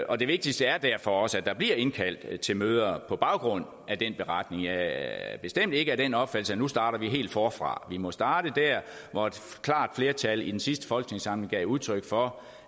og det vigtigste er derfor også at der bliver indkaldt til møder på baggrund af den beretning jeg er bestemt ikke af den opfattelse at nu starter vi helt forfra vi må starte der hvor et klart flertal i den sidste folketingssamling gav udtryk for